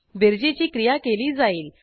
बेरजेची क्रिया केली जाईल